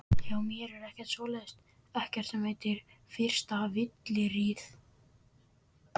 Hjá mér er ekkert svoleiðis, ekkert sem heitir fyrsta fylliríið.